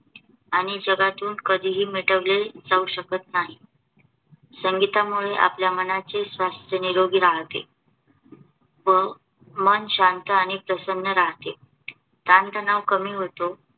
आणि जगातून कधीही मिटवले जाऊ शकत नाही. संगीतामुळे आपल्या मनाचे स्वास्थ्य निरोगी राहते व मन शांत आणि प्रसन्न राहते. ताणतणाव कमी होतो